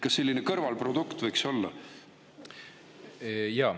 Kas selline kõrvalprodukt võiks olla?